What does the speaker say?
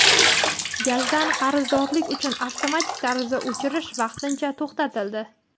Gazdan qarzdorlik uchun avtomatik tarzda o‘chirish vaqtincha to‘xtatildi.